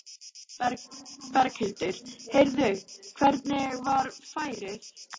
Berghildur: Heyrðu, hvernig var færið?